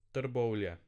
Trbovlje.